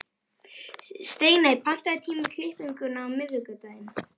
Steiney, pantaðu tíma í klippingu á miðvikudaginn.